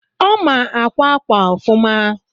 ọ ma akwa akwa ofuma